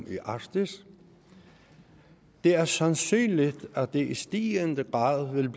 i arktis det er sandsynligt at det i stigende grad vil